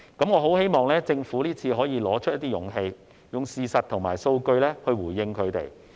我很希望政府這次可以拿出勇氣，用事實和數據回應他們。